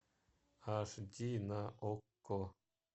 аш ди на окко